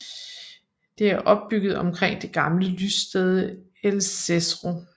Det er opbygget omkring det gamle lyststed Elsesro